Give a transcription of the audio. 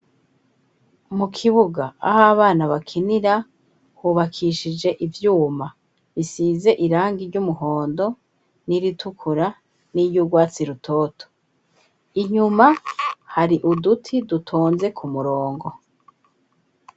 Mu kibuga aho abana bakinira hubakishije ivyuma bisize irangi ry'umuhondo n'iritukura n'iryugwatsi rutoto, inyuma hari uduti dutonze ku murongo.